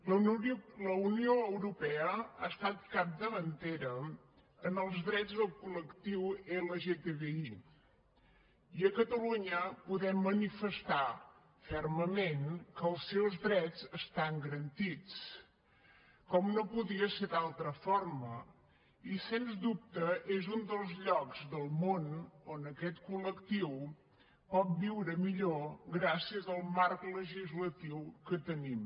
la unió europea ha estat capdavantera en els drets del col·lectiu lgtbi i a catalunya podem manifestar fermament que els seus drets estan garantits com no podia ser d’altra forma i sens dubte és un dels llocs del món on aquest col·lectiu pot viure millor gràcies al marc legislatiu que tenim